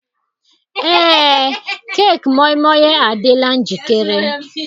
Ee, keeki moi moi adịla njikere.